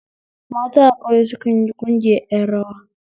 Mata a ƙauye sukanyi ƙungiyar ƴan rawa